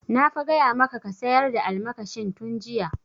Na fa gaya maka ka sayar da almakashin tun jiya!